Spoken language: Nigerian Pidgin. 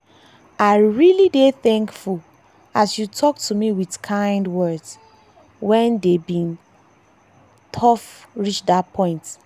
i dey really thankful as you talk to me with kind words when dey day bin tough reach that point.